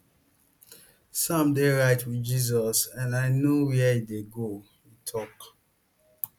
sam dey right wit jesus and i know where e dey go e tok